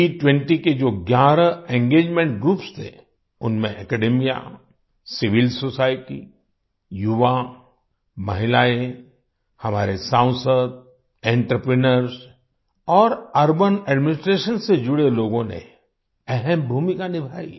G20 के जो ग्यारह एंगेजमेंट ग्रुप्स थे उनमें अकादेमिया सिविल सोसाइटी युवा महिलाएं हमारे सांसद एंटरप्रेन्योर्स और अर्बन एडमिनिस्ट्रेशन से जुड़े लोगों ने अहम भूमिका निभाई